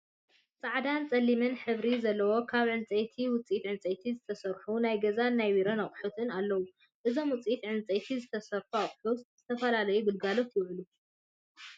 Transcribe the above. ፃዕዳን ፀሊም ሕብሪ ዘለዎ ካብ ዕንፀይት ውፅኢት ዕንፀይቲ ዝተሰርሑ ናይ ገዛን ናይ ቢሮን ኣቁሑት ኣለው። እዞም ውፅኢት ዕንፀይቲ ዝተሰርሑ ኣቁሑት ዝተፈላለዩ ግልጋሎት ይውዕሉ።